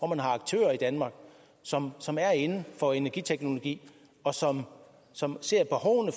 man har aktører i danmark som som er inden for energiteknologi og som som ser